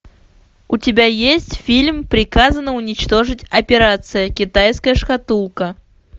у тебя есть фильм приказано уничтожить операция китайская шкатулка